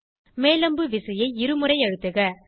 மேல் அம்பு விசையை இருமுறை அழுத்துக